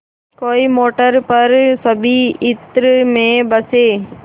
कोई मोटर पर सभी इत्र में बसे